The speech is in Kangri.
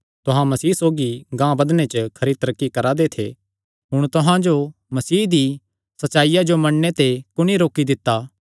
तुहां मसीह सौगी गांह बधणे च खरी तरक्की करा दे थे हुण तुहां जो मसीह दी सच्चाईया जो नीं मन्नणे ते कुणी रोकी दित्ता